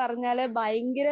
പറഞ്ഞാല് ഭയങ്കര